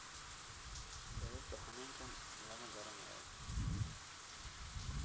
Sababta xanuunkan lama garanayo.